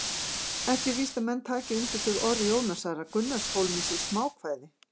Ekki er víst að menn taki undir þau orð Jónasar að Gunnarshólmi sé smákvæði!